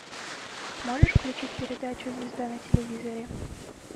можешь включить передачу звезда на телевизоре